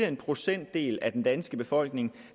en procentdel af den danske befolkning